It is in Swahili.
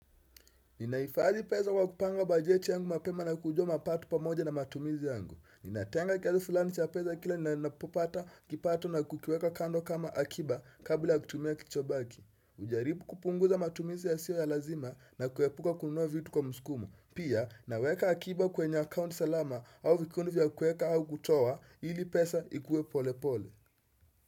Ninaifadhi pesa kwa kupanga bajeti yangu mapema na kujua mapato pamoja na matumizi yangu. Ninatenga kiasi fulani cha pesa kila ninapopata kipato na kukiweka kando kama akiba kabla kutumia kichobaki. Hujaribu kupunguza matumizi yasiyo ya lazima na kuepuka kununua vitu kwa msukumo. Pia naweka akiba kwenye akaunti salama au vikundi vya kueka au kutoa ili pesa ikue pole pole.